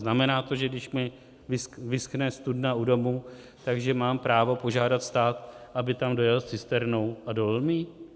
Znamená to, že když mi vyschne studna u domu, že mám právo požádat stát, aby tam dojel s cisternou a dolil mi ji?